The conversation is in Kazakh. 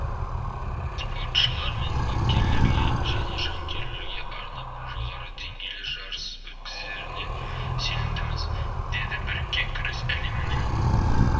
спортшылар мен бапкерлерге және жанкүйерлерге арнап жоғары деңгейлі жарыс өткізеріне сенімдіміз деді біріккен күрес әлемінің